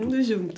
Todo mundo junto?